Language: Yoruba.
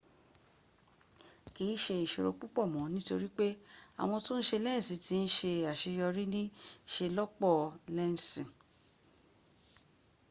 kii se isoro pupo mo nitori pe awon to n se lensi ti n se aseyori ni iselopo lensi